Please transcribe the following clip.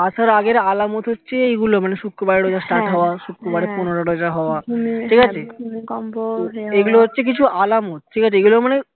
তার আগের আলামত হচ্ছে এই গুলো মানে শুক্রবারে রোজা start হওয়া শুক্রবারে পনেরো রোজা হওয়া ঠিক আছে এইগুলো হচ্ছে কিছু আলামত ঠিকাছে এইগুলো মানে